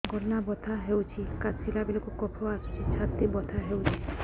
ଗଳା ବଥା ହେଊଛି କାଶିଲା ବେଳକୁ କଫ ଆସୁଛି ଛାତି ବଥା ହେଉଛି